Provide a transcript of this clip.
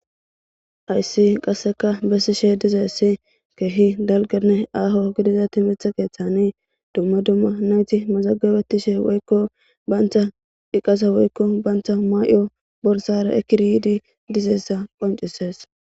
ayssi qasseka bessishe dizeessi keehi dalgane aho gidizati mitha keeththani dumma dumma nayti mazagabetishe woykko bayntha dhiqasa woykko bayntha maay7o borsara ekiridi dizeessa qoncises